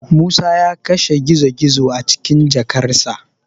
Musa ya kashe gizo-gizo a cikin jakarsa.